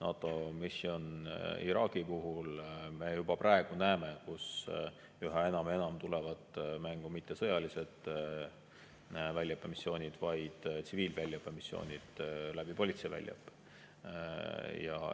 NATO Mission Iraqi puhul, me juba praegu näeme, et üha enam ja enam tulevad mängu mitte sõjalised väljaõppemissioonid, vaid tsiviilväljaõppemissioonid politsei väljaõppe kaudu.